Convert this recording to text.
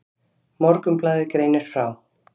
Morgunblaðið greinir frá.